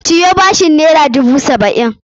Ciyo bashin naira dubu saba'in!